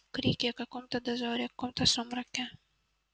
крики о каком-то дозоре о каком-то сумраке